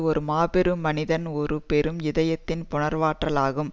ஒரு மாபெரும் மனதின் ஒரு பெரும் இதயத்தின் புனைவாற்றலாகும்